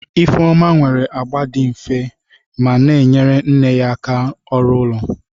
Ifeoma nwere agba dị nfe ma na-enyere nne ya aka ọrụ ụlọ.